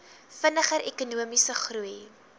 vinniger ekonomiese groei